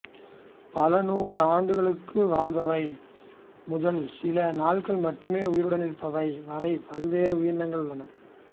பல நூறு ஆண்டுகளுக்கு வாழ்பவை முதல் சில நாள்கள் மட்டுமே உயிருடன் இருப்பவை வரை பல்வேறு உயிரினங்கள் உள்ளன